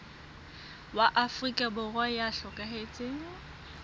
wa afrika borwa ya hlokahetseng